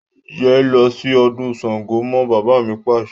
Yé lọ sí ọdún Sángo mọ́! Bàbá mi Pàṣẹ.